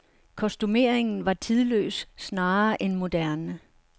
Kostumeringen var tidløs snarere end moderne.